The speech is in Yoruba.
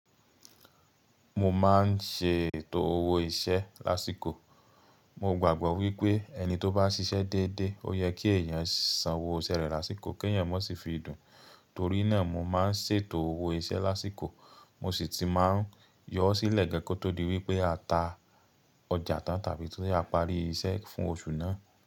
Mo máa ń ṣe ètò owó iṣẹ́ lásìkò. Mo gbàgbọ́ wípé ẹni tó bá ṣiṣẹ́ déédé, ó yẹ kí èèyàn san owó iṣẹ́ rẹ̀ lásìkò kí èèyàn má sì fi dùn. Torí náà, mo máa ń ṣètò owó iṣẹ́ lásìkò, mo sì ti máa ń yọ ọ́ sílẹ̀ gan kó tó di wípé a ta ọjà tán tàbí ti a parí iṣẹ́ fún oṣù náà.